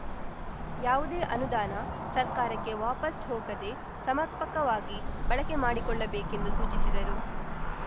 ಯಾವುದೇ ಅನುದಾನ ಸರ್ಕಾರಕ್ಕೆ ವಾಪಸ್‌ ಹೋಗದೆ ಸಮರ್ಪಕವಾಗಿ ಬಳಕೆ ಮಾಡಿಕೊಳ್ಳ ಬೇಕೆಂದು ಸೂಚಿಸಿದರು